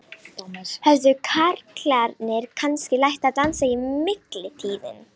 Höfðu karlarnir kannski lært að dansa í millitíðinni?